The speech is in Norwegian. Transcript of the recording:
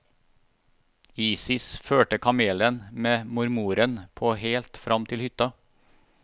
Isis førte kamelen med mormoren på helt fram til hytta.